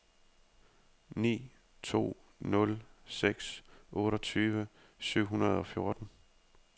ni to nul seks otteogtyve syv hundrede og fjorten